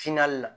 la